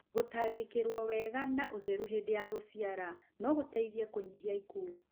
Gũtangĩkĩrũo wega na ũthru hĩndĩ ya gũciara no gũteithie kũnyihia ikuũ